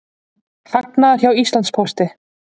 Hagnaður hjá Íslandspósti